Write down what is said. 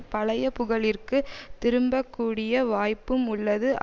பழைய புகழிற்குத் திரும்பக் கூடிய வாய்ப்பும் உள்ளது